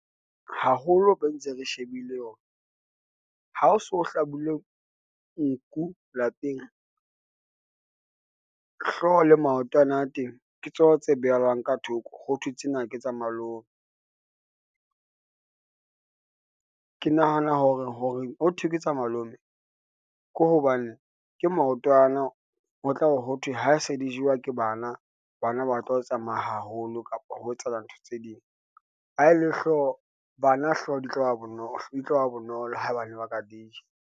Haholo re ntse re shebile hore, ha ho so hlabile nku lapeng hlooho le maotwana a teng, ke tsona tse behellwang ka thoko, hothwe tsena ke tsa malome. Ke nahana hore hothwe ke tsa malome, ke hobane ke maotwana ho tla be ho thwe ha se di jewa ke bana, bana ba tlo tsamaya haholo kapa ho etsahala ntho tse ding, bana hlooho di tloba bonolo, haebane ba ka dija.